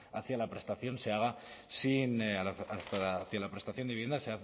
hacia la prestación de vivienda